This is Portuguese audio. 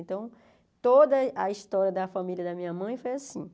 Então, toda a a história da família da minha mãe foi assim.